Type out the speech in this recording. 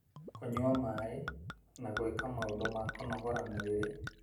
kũnyua maĩ, na gwĩka maũndũ ma kũnogora mwĩrĩ,